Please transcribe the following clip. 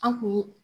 An kun ye